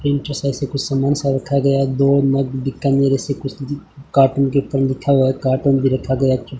entry side से कुछ सामान सा रखा गया है दो मग बीकानेर ऐसे कुछ कार्टून के ऊपर लिखा हुआ है कार्टून भी रखा गया --